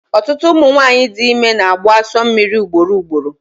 Ọtụtụ ụmụ nwanyị dị ime na-agbụ asọ mmiri ugboro ugboro